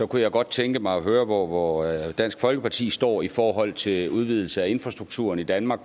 kunne jeg godt tænke mig at høre hvor hvor dansk folkeparti står i forhold til udvidelse af infrastrukturen i danmark